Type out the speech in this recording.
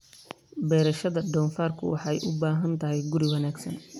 Beerashada doofaarku waxay u baahan tahay guri wanaagsan.